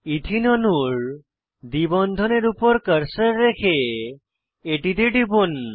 এথেনে অণুর দ্বি বন্ধনের উপর কার্সার রেখে এটিতে টিপুন